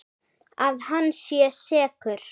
Að hann sé sekur?